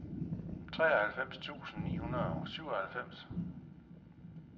treoghalvfems tusind ni hundrede og syvoghalvfems